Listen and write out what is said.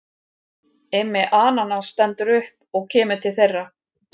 Immi ananas stendur upp og kemur til þeirra.